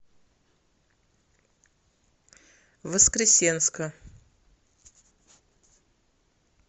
воскресенска